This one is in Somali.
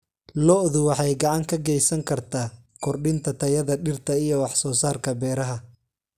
Lo'du waxay gacan ka geysan kartaa kordhinta tayada dhirta iyo wax soo saarka beeraha.